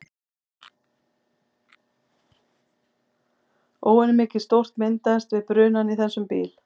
Óvenjumikið sót myndast við brunann í þessum bíl.